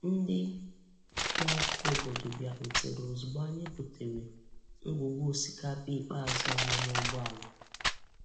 Ndị na-akụ obodo bịarutere ozugbo anyị butere ngwugwu osikapa ikpeazụ anyị n'ụgbọala.